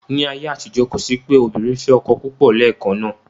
Ní ayé àtijọ́, kò sí pé obìnrin fẹ́ ọkọ púpọ̀ lẹ́ẹ̀kan náà.